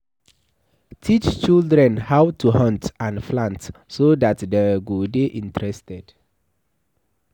Teach children how to hunt and plant so that dem go de interested